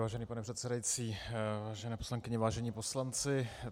Vážený pane předsedající, vážené poslankyně, vážení poslanci.